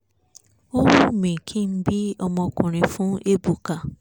ó wímí kí n bí ọmọkùnrin fún ébùkà